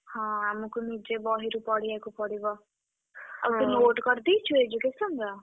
ହଁ ଆମକୁ ନିଜେ ବହିରୁ ପଢିଆକୁ ପଡିବ। ଆଉ ତୁ note କରିଦେଇଛୁ education ର?